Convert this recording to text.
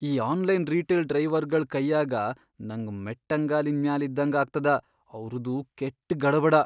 ಈ online retail ಡ್ರೈವರ್ಗಳ್ ಕೈಯಾಗ ನಂಗ್ ಮೆಟ್ಟಂಗಾಲಿನ್ ಮ್ಯಾಲ್ ಇದ್ದಂಗ ಆಗ್ತದ, ಅವ್ರದು ಕೆಟ್ಟ್ ಗಡಬಡ.